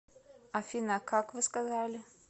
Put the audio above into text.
афина как вы сказали